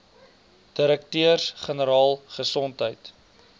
direkteurs generaal gesondheid